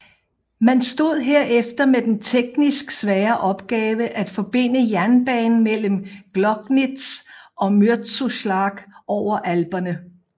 Man stod herefter med den teknisk svære opgave at forbinde jernbanen mellem Gloggnitz og Mürzzuschlag over alperne